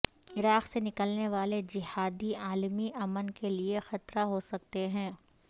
عراق سے نکلنے والے جہادی عالمی امن کے لیے خطرہ ہو سکتے ہیں